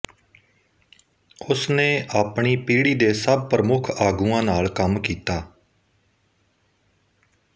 ਉਸ ਨੇ ਆਪਣੀ ਪੀੜ੍ਹੀ ਦੇ ਸਭ ਪ੍ਰਮੁੱਖ ਆਗੂਆਂ ਨਾਲ ਕੰਮ ਕੀਤਾ